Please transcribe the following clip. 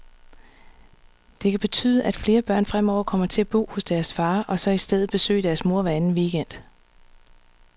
Det kan betyde, at flere børn fremover kommer til at bo hos deres far, og så i stedet besøger deres mor hver anden weekend.